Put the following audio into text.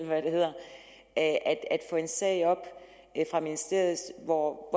hvad det hedder at få en sag op fra ministeriet hvor